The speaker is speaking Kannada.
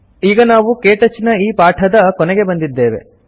ಈಗ ನಾವು ಕೇಟಚ್ ನ ಈ ಪಾಠದ ಕೊನೆಗೆ ಬಂದಿದ್ದೇವೆ